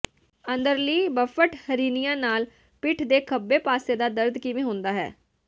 ਅੰਦਰਲੀ ਬੱਫਟ ਹਰੀਨੀਆ ਨਾਲ ਪਿੱਠ ਦੇ ਖੱਬੇ ਪਾਸੇ ਦਾ ਦਰਦ ਕਿਵੇਂ ਹੁੰਦਾ ਹੈ